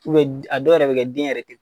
a dɔw yɛrɛ bɛ kɛ den yɛrɛ tɛ